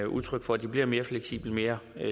udtryk for at de bliver mere fleksible mere